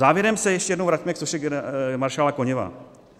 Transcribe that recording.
Závěrem se ještě jednou vraťme k soše maršála Koněva.